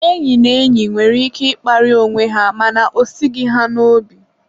enyi na enyi nwere ike ịkparị onwe ha mana o esighi ha n'obi.